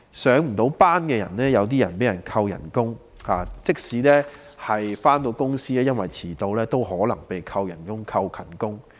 一些未能上班的人被扣工資，即使有上班亦因為遲到而有可能被扣減工資或勤工獎。